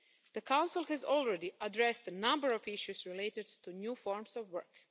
The Council has already addressed a number of issues related to new forms of work.